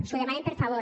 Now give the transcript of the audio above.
els ho demanem per favor